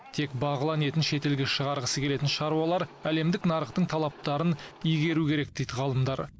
тек бағлан етін шетелге шығарғысы келетін шаруалар әлемдік нарықтың талаптарын игеру керек дейді ғалымдар